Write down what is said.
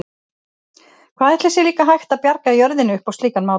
Hvað ætli sé líka hægt að bjarga jörðinni upp á slíkan máta?